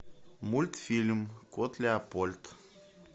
мультфильм кот леопольд